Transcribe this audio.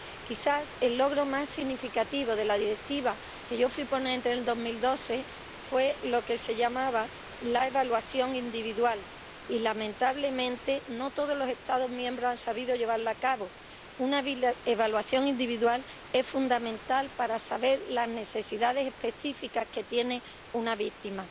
Quizás el logro más significativo de la Directiva, de la que yo fui ponente en 2012, fue lo que se llamaba la evaluación individual y, lamentablemente, no todos los Estados miembros han sabido llevarla a cabo una evaluación individual es fundamental para saber las necesidades específicas que tiene una víctima.